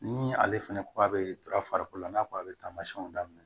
Ni ale fɛnɛ ko a bɛ farikolo la n'a ko a bɛ taamasiyɛnw daminɛ